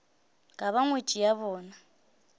ka ba ngwetši ya bona